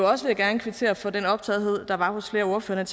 også gerne kvittere for den optagethed der var hos flere ordførere